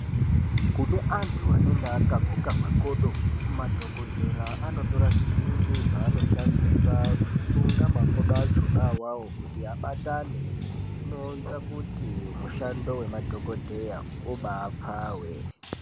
Kune antu anenge akaguka makodo madhokodhera anotora zvisimbi zvanoshandisa kusunga makodo achona awawo kuti abatane zvinoita kuti mushando wemadhokodheya ubapfawe.